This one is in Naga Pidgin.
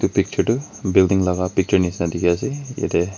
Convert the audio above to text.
picture tu building laka picture nishina dikhi ase yete--